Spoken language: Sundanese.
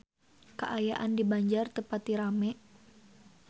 Kaayaan di Banjar teu pati rame